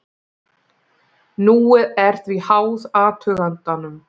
Núið er því háð athugandanum.